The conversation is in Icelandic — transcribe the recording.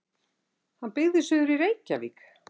Hann byggði suður í Reykjarvík.